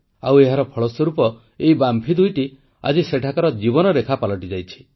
ଆଉ ଏହାର ଫଳସ୍ୱରୂପ ଏହି ବାମ୍ଫି ଦୁଇଟି ଆଜି ସେଠାକାର ଜୀବନରେଖା ପାଲଟିଯାଇଛି